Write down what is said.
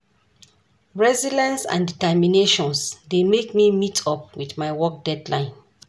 Resilience and determinations dey make me meet up with my work deadline.